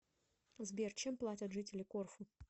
сбер чем платят жители корфу